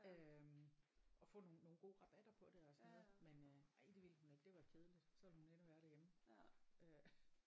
Øh og få nogle nogle gode rabatter på det og sådan noget men øh nej det ville hun ikke det var kedeligt så ville hun hellere være derhjemme øh